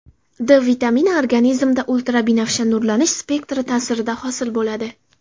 D vitamini organizmda ultrabinafsha nurlanish spektri ta’sirida hosil bo‘ladi.